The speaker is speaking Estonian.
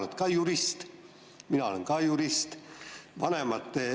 Sina oled jurist, mina olen ka jurist.